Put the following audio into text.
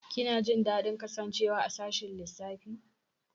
Kina jin daɗin kasancewa a sashin lissafi?